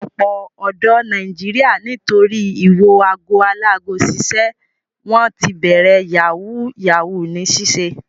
Ọ̀pọ̀ ọ̀dọ́ Nàìjíríà nítorí ìwo ago alágo ṣiṣẹ́ wọ́n ti bẹ̀rẹ̀ yahoo yahoo ní ṣíṣe.